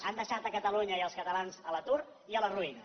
han deixat catalunya i els catalans a l’atur i a la ruïna